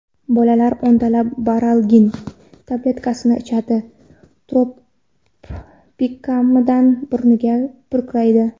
Bolalar o‘ntalab baralgin tabletkasini ichadi, tropikamidni burniga purkaydi.